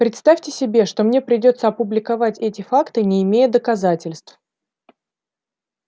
представьте себе что мне придётся опубликовать эти факты не имея доказательств